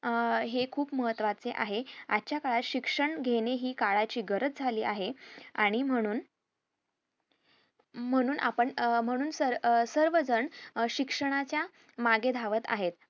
अं हे खुप महत्वाचे आहे आजच काळात शिक्षण घेणे हि काळाची गरज झाली आहे आणि म्हणून म्हणून आपण अह म्हणून सर अं सर्वजण शिक्षणाच्या मागे धावत आहेत